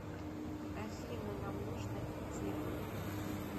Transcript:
афина нам нужно идти